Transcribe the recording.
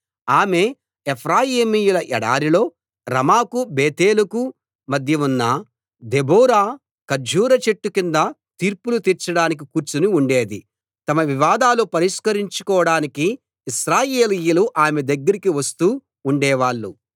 ఆమె ఎఫ్రాయిమీయుల ఎడారిలో రమాకు బేతేలుకు మధ్య ఉన్న దెబోరా ఖర్జూర చెట్టు కింద తీర్పులు తీర్చడానికి కూర్చుని ఉండేది తమ వివాదాలు పరిష్కరించుకోడానికి ఇశ్రాయేలీయులు ఆమె దగ్గరికి వస్తూ ఉండేవాళ్ళు